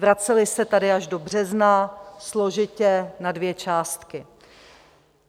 Vracely se tady až do března, složitě, na dvě částky.